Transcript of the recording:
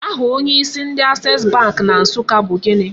Aha onyeisi ndị Access Bank na Nsụka bu gịnị?